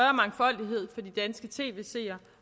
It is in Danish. på de danske tv seere